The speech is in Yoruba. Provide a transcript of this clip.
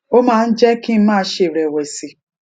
ó máa ń jé kí n má ṣe rèwèsì